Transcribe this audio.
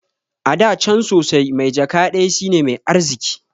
Ada can sosai, mai jaka ɗaya shine mai arziki